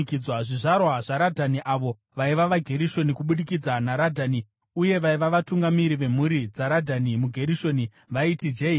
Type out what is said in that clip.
Zvizvarwa zvaRadhani, avo vaiva vaGerishoni kubudikidza naRadhani uye vaiva vatungamiri vemhuri dzaRadhani muGerishoni vaiti: Jehieri,